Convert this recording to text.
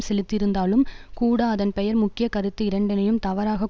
செலுத்தியிருந்தாலும் கூட அதன் பெயர் முக்கிய கருத்து இரண்டையும் தவறாக